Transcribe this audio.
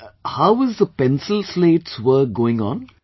Well, how is the pencilslates work going on